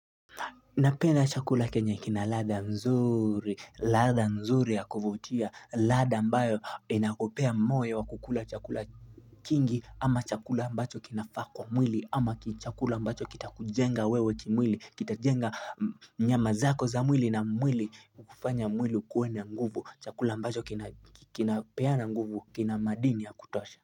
Napenda chakula kenye kina ladha mzuri, ladha mzuri ya kuvutia, ladha ambayo inakopea moyo wa kukula chakula kingi ama chakula mbacho kinafaa kuwa mwili ama chakula mbacho kitakujenga wewe kimwili, kita jenga nyama zako za mwili na mwili kufanya mwili ukuwe na nguvu chakula ambacho kinapeana nguvu kina madini ya kutosha.